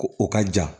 Ko o ka jan